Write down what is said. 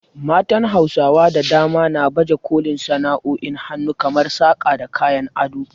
Matan Hausawa da dama na baje kolin sana’o’in hannu kamar saƙa da kayan ado.